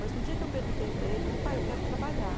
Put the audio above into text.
Mas no dia que eu perguntei para ele, falei, pai, eu quero trabalhar.